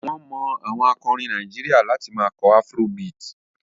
Wọ́n mọ àwọn akọrin Nàìjíríà láti máa kọ afrobeat.